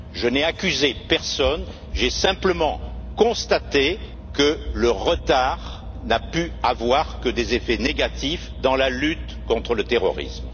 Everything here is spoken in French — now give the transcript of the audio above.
Je n'ai accusé personne. J'ai simplement constaté que le retard n'avait pu avoir que des effets négatifs dans la lutte contre le terrorisme.